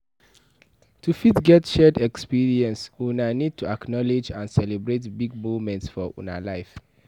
To fit get shared expeience una need to acknowlege and celebrate big moments for una lives